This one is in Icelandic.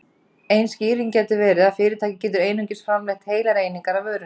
Ein skýring gæti verið að fyrirtæki getur einungis framleitt heilar einingar af vörunni.